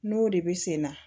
N'o de bɛ sen na